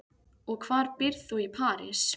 Og hvar býrð þú í París?